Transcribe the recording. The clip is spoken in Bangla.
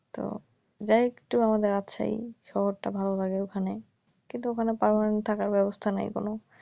তো যাই একটু আমাদের রাজশাহী শহরটা ভালো লাগে ওখানে, কিন্তু ওখানে পারমানেন্ট থাকার ব্যবস্থা নাই কোন